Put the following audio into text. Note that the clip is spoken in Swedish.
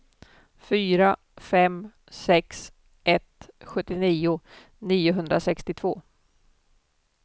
fyra fem sex ett sjuttionio niohundrasextiotvå